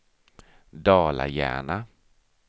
Dala-Järna